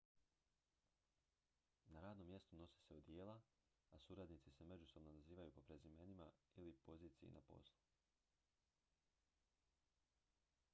na radnom mjestu nose se odijela a suradnici se međusobno nazivaju po prezimenima ili poziciji na poslu